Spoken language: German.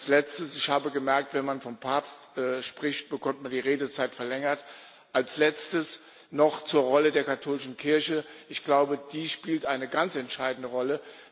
Und als Letztes ich habe gemerkt, wenn man vom Papst spricht, bekommt man die Redezeit verlängert noch zur Rolle der katholischen Kirche Ich glaube, die spielt eine ganz entscheidende Rolle.